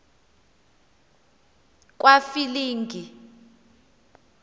kwafilingi